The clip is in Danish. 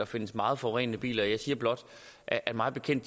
findes meget forurenende biler jeg siger blot at mig bekendt